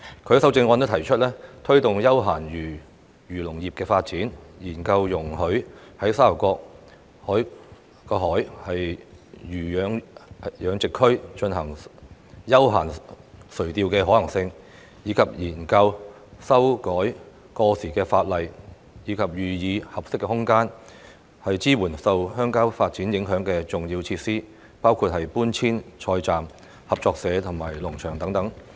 他在修正案提出推動休閒漁農業發展，研究容許在沙頭角海魚養殖區進行休閒垂釣的可行性，以及研究修改過時法例及予以合適空間，支援受鄉郊發展影響的重要設施，包括搬遷菜站、合作社及農場等。